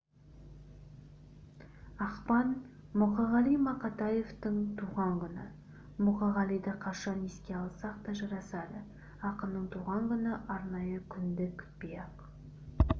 ақпан мұқағали мақатаевтың туған күні мұқағалиды қашан еске алсақ та жарасады ақынның туған күні арнайы күнді күтпей-ақ